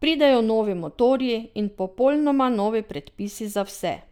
Pridejo novi motorji in popolnoma novi predpisi za vse.